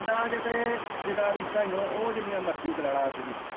ਪਿੰਡਾਂ ਚ ਤੇ ਜਿਦਾਂ ਰੀਸਾਂ ਹੀ ਹੈ ਉਹ ਜਿੰਨੀਆਂ ਮਰਜੀ ਕਰਾ ਲੈ ਅੱਜ ਵੀ।